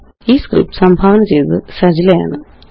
ഈ സ്ക്രിപ്റ്റ് സംഭാവന ചെയ്തത് അനൂപ്എംആര് ആണ്